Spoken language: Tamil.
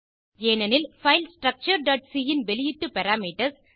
ஏனெனில் பைல் structureசி ன் வெளியீட்டு பாராமீட்டர்ஸ்